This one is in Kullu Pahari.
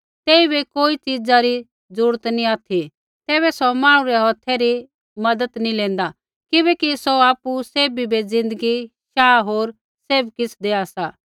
तेइबै कोई च़ीज़ा री जरूरत नी ऑथि तैबै सौ मांहणु रै हौथै री मज़त नी लेंदा किबैकि सौ आपु सैभी बै ज़िन्दगी शाह होर सैभ किछ़ देआ सा